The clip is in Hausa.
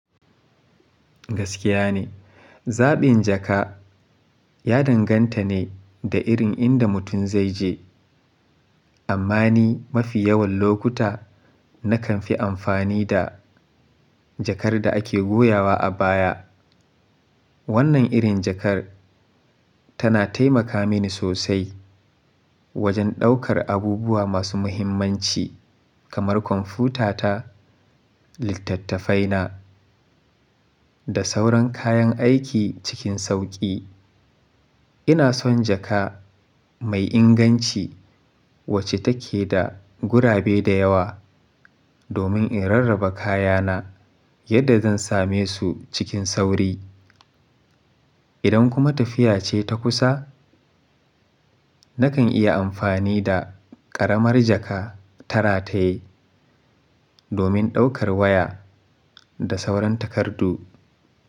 Gaskiya ne, zaɓin jaka ya danganta ne da irin inda mutum zai je. Amma ni mafi yawan lokuta nakan fi amfani da jakar da ake goyawa a baya. Wannan irin jakar tana taimaka mini sosai wajen ɗaukar abubuwa masu muhimmanci kamar kwamfutata, littattafaina da sauran kayan aiki cikin sauƙi. Ina son jaka mai inganci wacce take da gurabe da yawa domin in rarraba kayana yadda zan same su cikin sauri. Idan kuma tafiya ce ta kusa, nakan iya amfani da ƙaramar jaka ta rataye domin ɗaukar waya da sauran takardu.